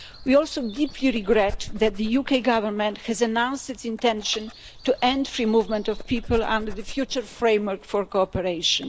We also deeply regret that the UK Government has announced its intention to end free movement of people under the future framework for cooperation.